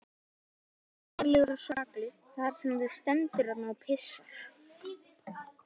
Þú ert hræddur, heiðarlegur og saklaus þar sem þú stendur þarna og pissar.